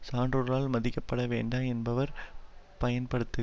சான்றோரால் மதிக்கப்பட வேண்டா என்பவர் பயன்படுத்து